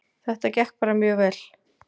Þetta gekk bara mjög vel